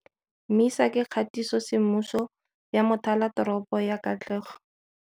MISA ke kgatisosemmuso ya mothalateropo ya katlego.